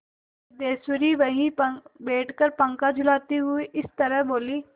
सिद्धेश्वरी वहीं बैठकर पंखा डुलाती हुई इस तरह बोली